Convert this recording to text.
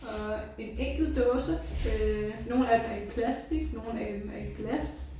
Og en enkelt dåse øh nogle af dem er i plastik nogle er i er i glas